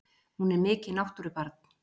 Hún er mikið náttúrubarn!